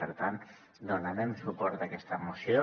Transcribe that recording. per tant donarem suport a aquesta moció